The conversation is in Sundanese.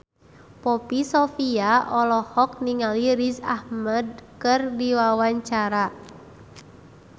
Poppy Sovia olohok ningali Riz Ahmed keur diwawancara